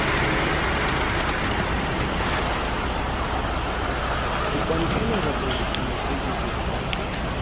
ukwamkeleka kweziqinisekiso zikagqirha